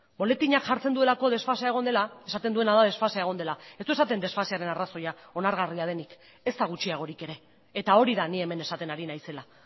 boletinean jartzen duelako desfasea egon dela esaten duena da desfasea egon dela ez du esaten desfasearen arrazoia onargarria denik ezta gutxiagorik ere eta hori da ni hemen esaten ari naizela